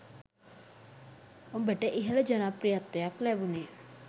ඔබට ඉහළ ජනප්‍රියත්වයක් ලැබුණේ